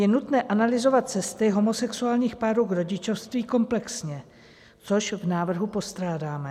Je nutné analyzovat cesty homosexuálních párů k rodičovství komplexně, což v návrhu postrádáme.